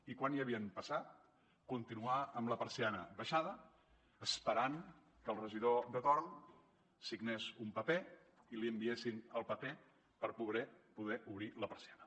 i quan ja havien passat ha continuat amb la persiana abaixada esperant que el regidor de torn signés un paper i li enviessin el paper per poder obrir la persiana